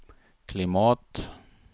klimat